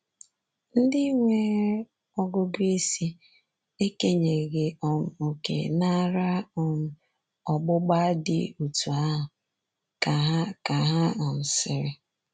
Ndị nwere ọgụgụ isi… ekenyeghị um òkè n’ara um ọgbụgba dị otú ahụ,” ka ha ka ha um sịrị.